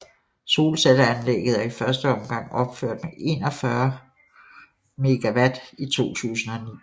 Solcelleanlæget er i første omgang opført med 41 MW i 2009